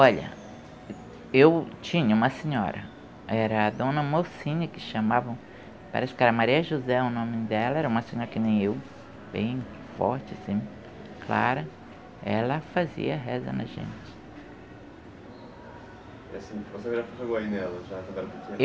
Olha, eu tinha uma senhora, era a dona Mocinha que chamavam, parece que era Maria José o nome dela, era uma senhora que nem eu, bem forte assim, clara, ela fazia reza na gente. quando era pequena?